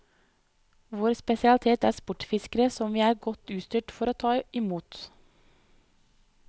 Vår spesialitet er sportsfiskere som vi er godt utstyrt for å ta i mot.